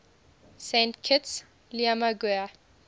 saint kitts liamuiga